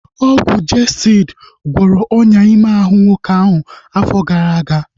Ọgwụ Jestịdi gwọrọ ọnyá ime ahụ nwoke ahu afọ gara aga